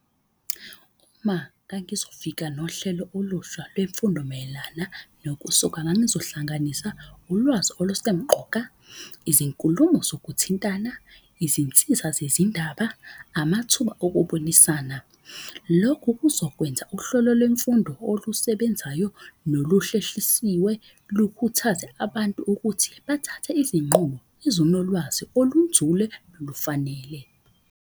Uma ngangizofika nohlelo olusha lwemfundo mayelana nokusoka, ngangizohlanganisa ulwazi olusemqoka, izinkulumo zokuthintana, izinsiza zezindaba, amathuba okubonisana. Lokhu kuzokwenza uhlolo lwemfundo olusebenzayo, nolusheshisiswe, lukhuthaze abantu ukuthi bathathe izinqumo ezinolwazi olunzule nolufanele.